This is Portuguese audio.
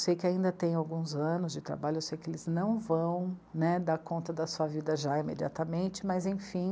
Sei que ainda tem alguns anos de trabalho, eu sei que eles não vão, né, dar conta da sua vida já imediatamente, mas enfim,